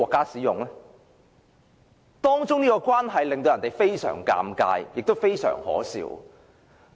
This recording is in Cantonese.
這種關係令人感到非常尷尬，亦非常可笑。